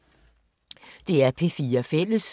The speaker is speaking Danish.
DR P4 Fælles